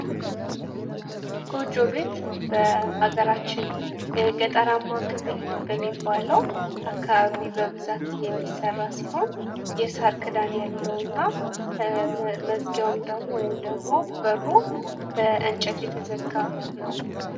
ጎጆ ቤት በሀገራችን የገጠርማ ክፍል በሚባለው አካባቢ በብዛት የሚሰራ ሲሆን የሳር ክዳን ያለው እና መዝጊያውም ደግሞ ወይም ደሞ በሩ በእንጨት የተዘጋ ነው።